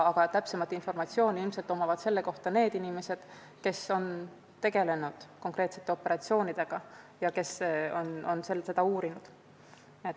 Ent täpsem informatsioon selle kohta on inimestel, kes on tegelenud konkreetsete operatsioonidega ja kes on seda uurinud.